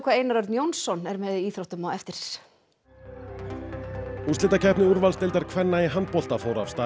Einar Örn Jónsson er með íþróttum á eftir úrslitakeppni úrvalsdeildar kvenna í handbolta fór af stað